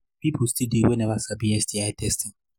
people still they we never sabi sti testing